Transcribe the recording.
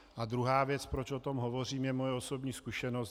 A druhá věc, proč o tom hovořím, je moje osobní zkušenost.